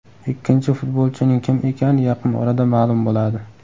Ikkinchi futbolchining kim ekani yaqin orada ma’lum bo‘ladi.